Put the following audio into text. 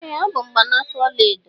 Ee ọ bụ mgbanaka ọla edo.